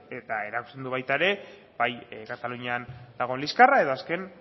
eta erakusten du baita ere bai katalunian dagoen liskarra edo azken